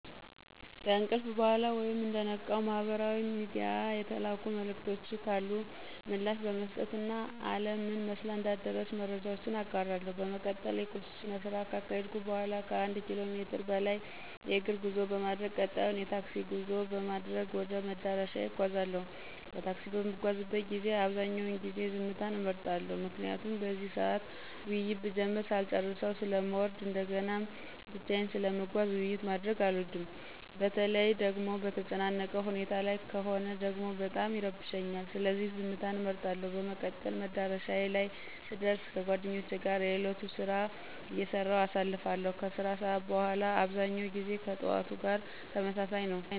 ከእንቅልፍ በኋላ ወይም እንደነቃው ማህበራዊ ሚድያ የተላኩ መልዕክቶች ካሉ ምላሽ በመስጠት እና አለም ምን መስላ እንዳደረች መረጃዎች እጋራለሁ። በመቀጠል የቁርስ ስነስርዓት ካካሄድኩ በኋላ ከአንድ ኪሎ ሜትር በላይ የእግር ጉዞ በማድረግ ቀጣዩን የታክሲ ጉዞ በማድረግ ወደ መዳረሻዬ እጓዛለሁ። በታክሲ በምጓዝበት ጊዜ አብዛኛውን ጊዜ ዝምታን እመርጣለሁ። ምክንያቱም በዚህ ሰዓት ውይይት ብጀምር ሳልጨረሰው ስለምወርድ እንደገናም ብቻየን ስለምጓዝ ውይይት ማድረግ አልወድም። በተለይ ደጎሞ በተጨናነቀ ሁኔታ ላይ ከሆነ ደግሞ በጣም ይረብሸኛል። ስለዚህ ዝምትን እመርጣለሁ። በመቀጠል መዳረሻዬ ላይ ስደር ከጓደኞቼ ጋር የእለቱን ስራ አይሰራሁ አሳልፋለሁ። ከስራ ሰዓት በኋላ አብዛኛው ጊዜ ከጥዋቱ ጋር ተመሳሳይ ነው።